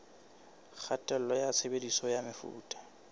kgatello ya tshebediso ya mefuta